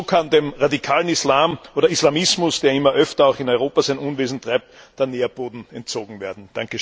Nur so kann dem radikalen Islam oder Islamismus, der immer öfter auch in Europa sein Unwesen treibt, der Nährboden entzogen werden.